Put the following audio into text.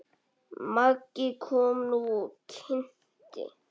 Maggi kom nú og kynnti.